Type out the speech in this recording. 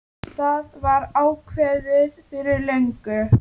Það var ákveðið fyrir löngu.